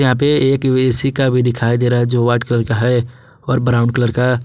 एक ए_सी का भी दिखाई दे रहा है जो व्हाइट कलर का है और ब्राउन कलर का।